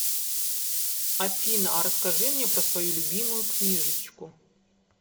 афина а расскажи мне про свою любимую книжечку